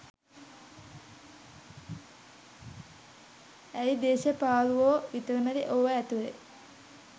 ඇයි දේශපාලුවෝ විතරමද ඕවා ඇතුලේ